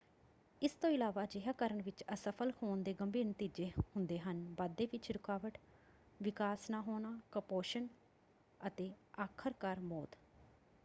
ਇਸ ਤੋਂ ਇਲਾਵਾ ਅਜਿਹਾ ਕਰਨ ਵਿੱਚ ਅਸਫ਼ਲ ਹੋਣ ਦੇ ਗੰਭੀਰ ਨਤੀਜੇ ਹੁੰਦੇ ਹਨ: ਵਾਧੇ ਵਿੱਚ ਰੁਕਾਵਟ ਵਿਕਾਸ ਨਾ ਹੋਣਾ ਕੁਪੋਸ਼ਣ ਅਤੇ ਆਖਰਕਾਰ ਮੌਤ।